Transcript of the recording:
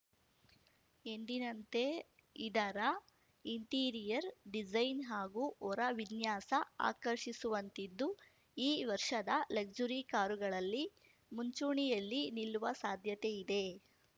ಎಂದಿನಂತೆ ಇದರ interior design ಹಾಗೂ ಹೊರ ವಿನ್ಯಾಸ ಆಕರ್ಷಿಸುವಂತಿದ್ದು ಈ ವರ್ಷದ ಲಕ್ಸುರಿ ಕಾರುಗಳಲ್ಲಿ ಮುಂಚೂಣಿಯಲ್ಲಿ ನಿಲ್ಲುವ ಸಾಧ್ಯತೆ ಇದೆ